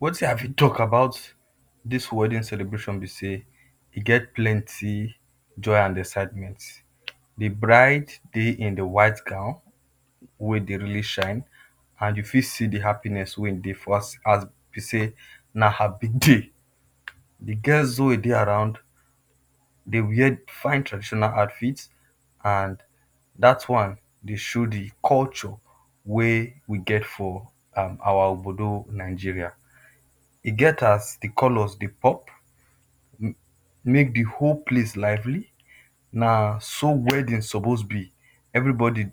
Wetin I fit talk about dis wedding celebration be sey, e get plenty joy and excitement. di bride dey in di white gown wey dey really shine and you fit see di happiness wey in dey as be sey na her day. Di girls wey dey around, dey wear fine traditional outfit and dat one dey show the culture wey we get for our obodo Nigeria. E get as di colour dey pop make the whole place lively, na so wedding suppose be, every body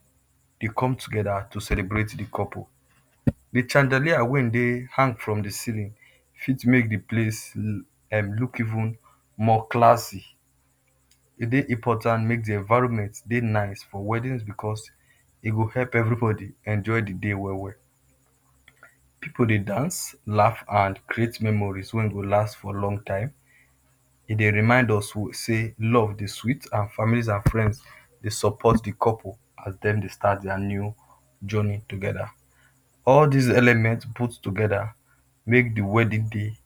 dey come together to celebrate the couple. di chanderlier wey dey hang from the ceiling fit make the place look even more classy. E dey important make the environment dey nice for weddings because e go help every body enjoy the day well well. Pipu dey dance, laugh and create memories wey go last for long time. En dey remind us [?[ sey love dey sweet and family and friends dey support the couple as dem dey start dia new journey together. All dis element put together make the wedding day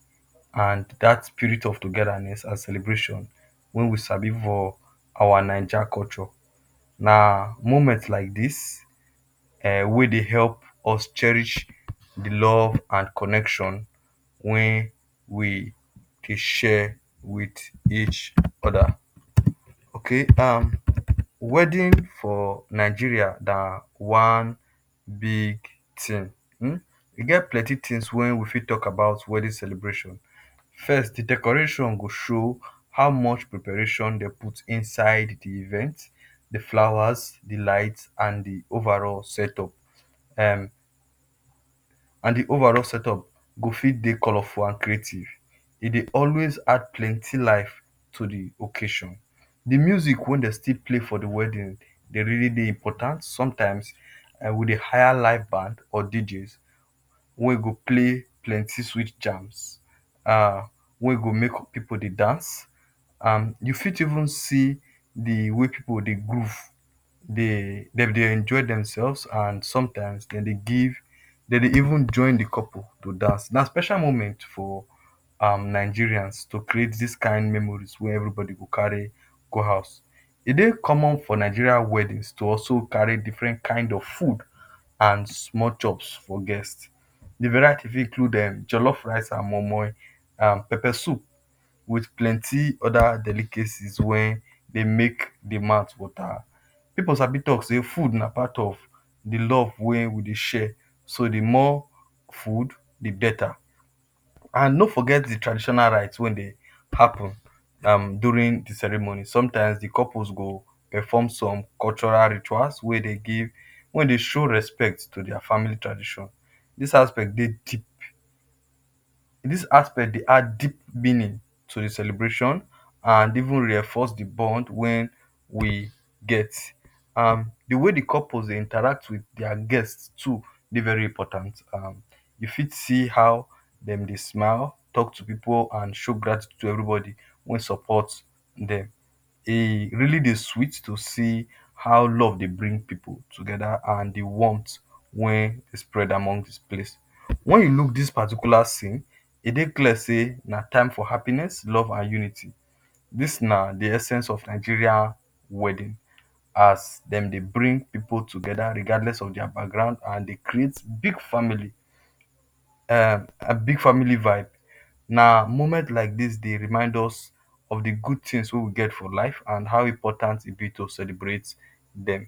and dat spirit of togetherness and celebration wey we sabi for our naija culture. na moment like dis wey dey hep us cherish di love an connection wey we dey share wit each other okay now wedding for nigeria na one big tin um e get plenti tins wen we fit tok about wedding celebration first di decoration go show how much preparation dey put inside di event di flowers di light and di overall set up um an di overall set up go fit dey colorful an creative e dey always add plenti live to di occasion di music wen dey still play for di wedding dey really dey important sometimes um we dey hire livebands or DJs wey go play plenti sweet jams um wey go make pipu dey dance an you fit even see di way pipu dey groove. dem dey enjoy themselves an sometimes dey dey give dem dey even join the couple to dance,. na special moment for nigerians to create dis kine memories wey everybodi go carry go house. e dey common for nigerian weddings to also carry different kind of food an small chops fr guests. di variety fit include jollof rice and moimoi an peppersoup with plenti oda delicacies wey dey make the mouth water pipu sabi tok say food na part of di love wey we dey share so di more food di better an no forget di traditional rite wey dey happen um during the ceremony sometimes di couples go dey form some cultural rituals wey dey give wey dey show respect to their family tradition dis aspect dey dis aspect dey add deep meaning to the celebration and even reinforce di bond wen we get um di way di couples dey interact with their guest too dey very important. we fit see how dem dey smile tok to people an show gratitude to everybodi wey support dem. e really dey sweet to see how love dey bring pipu togeda and di warmth wen e spread among place. wen e know dis particular scene e dey clear say na time for happiness love and unity. dis na di essence of nigeria wedding as dem dey bring pipu togeda regardless of their background and dey create big family um big family vibe na moment like dis dey remind us of di good things wey we get for life an how important e be to celebrate dem.